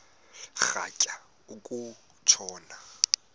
rhatya uku tshona